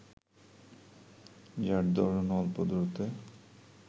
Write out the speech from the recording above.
যার দরুন অল্প দূরত্বে